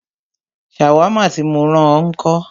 Ṣàwámà tí mó rán ọ ńkọ́?